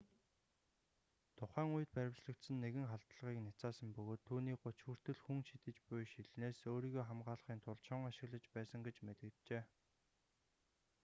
тухайн үед баривчлагдсан нэгэн халдлагыг няцаасан бөгөөд түүнийг гуч хүртэл хүн шидэж буй шилнээс өөрийгөө хамгаалахын тулд шон ашиглаж байсан гэж мэдэгджээ